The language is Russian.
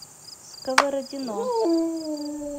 сковородино